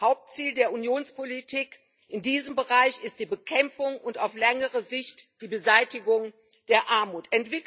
Hauptziel der Unionspolitik in diesem Bereich ist die Bekämpfung und auf längere Sicht die Beseitigung der Armut.